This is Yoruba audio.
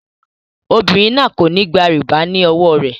Obìnrin náà kò ní gba rìbá náà ní owó rẹ.